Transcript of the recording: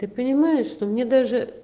ты понимаешь что мне